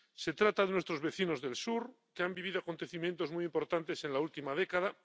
Se trata de nuestros vecinos del sur, que han vivido acontecimientos muy importantes en la última década.